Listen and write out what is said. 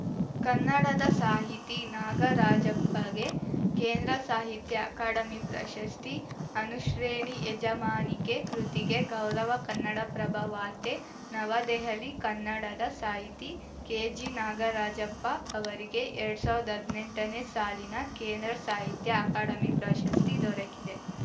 ಕನ್ನಡದ ಸಾಹಿತಿ ನಾಗರಾಜಪ್ಪಗೆ ಕೇಂದ್ರ ಸಾಹಿತ್ಯ ಅಕಾಡೆಮಿ ಪ್ರಶಸ್ತಿ ಅನುಶ್ರೇಣಿ ಯಜಮಾನಿಕೆ ಕೃತಿಗೆ ಗೌರವ ಕನ್ನಡಪ್ರಭ ವಾರ್ತೆ ನವದೆಹಲಿ ಕನ್ನಡದ ಸಾಹಿತಿ ಕೆಜಿ ನಾಗರಾಜಪ್ಪ ಅವರಿಗೆ ಎರಡ್ ಸಾವ್ರ್ದ ಹದ್ನೆಂಟನೇ ಸಾಲಿನ ಕೇಂದ್ರ ಸಾಹಿತ್ಯ ಅಕಾಡಮಿ ಪ್ರಶಸ್ತಿ ದೊರಕಿದೆ